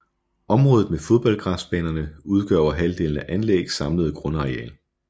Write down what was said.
Området med fodboldgræsbanerne udgør over halvdelen af anlæggets samlede grundareal